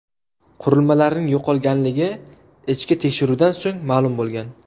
Qurilmalarning yo‘qolganligi ichki tekshiruvdan so‘ng ma’lum bo‘lgan.